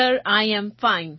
sir I am fine